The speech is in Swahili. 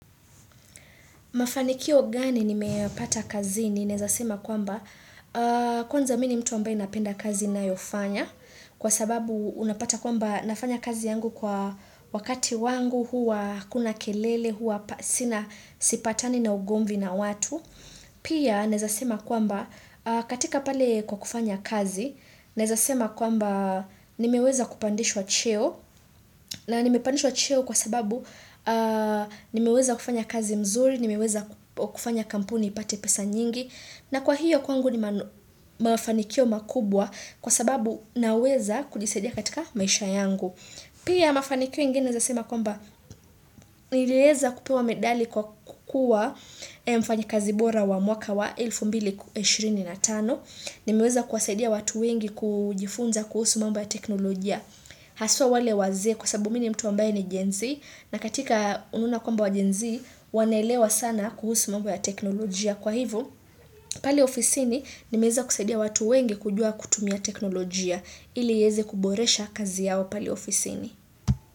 Mafanikio gani nimeyapata kazi ninaweza sema kwamba. Kwanza mimi ni mtu ambaye napenda kazi ninayofanya kwa sababu unapata kwamba nafanya kazi yangu kwa wakati wangu huwa hakuna kelele huwa sina sipatani na ugomvi na watu. Pia naweza sema kwamba katika pale kwa kufanya kazi naweza sema kwamba nimeweza kupandishwa cheo na nimepandishwa cheo kwa sababu nimeweza kufanya kazi mzuri, nimeweza kufanya kampuni ipate pesa nyingi na kwa hiyo kwangu ni mafanikio makubwa kwa sababu naweza kujisaidia katika maisha yangu. Pia mafanikio ingini ninaweza sema kwamba niliweza kupewa medali kwa kukua mfanyakazi bora wa mwaka wa elfu mbili ishirini na tano. Nimeweza kuwasaidia watu wengi kujifunza kuhusu mambo ya teknolojia. Haswa wale wazee kwa sababu mimi ni mtu wambaye ni genzi na katika ununa komba wa genzi wanaelewa sana kuhusu mambo ya teknolojia. Kwa hivyo pale ofisini nimeweza kusaidia watu wengi kujua kutumia teknolojia ili iweze kuboresha kazi yao pale ofisini.